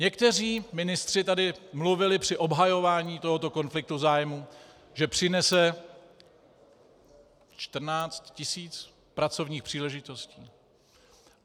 Někteří ministři tady mluvili při obhajování tohoto konfliktu zájmů, že přinese 14 tisíc pracovních příležitostí.